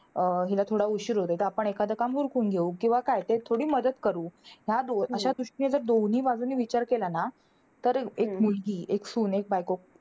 अं हिला थोडा उशीर होतोय. तर आपण एखादं काम उरकून घेऊ किंवा काय. तिला थोडी मदत करू. ह्या दो अशा दृष्टीने जर बाजूंनी विचार केला ना, तर एक मुलगी, एक सून, एक बायको.